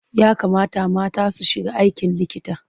Ya kamata mata su shiga aikin likita.